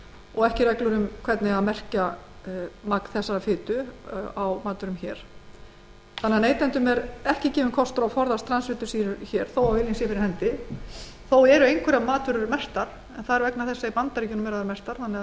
og ekki eru reglur um hvernig merkja eigi magn þessarar fitu á matvörum neytendum hér á landi er því ekki gefinn kostur á að forðast transfitusýrur þótt viljinn sé fyrir hendi þó eru einhverjar matvörur merktar en það er vegna þess að